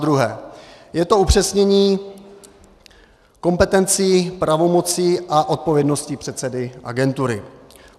Zadruhé je to upřesnění kompetencí, pravomocí a odpovědnosti předsedy agentury.